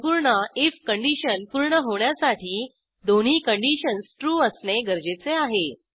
संपूर्ण if condition पूर्ण होण्यासाठी दोन्ही कंडिशन्स ट्रू असणे गरजेचे आहे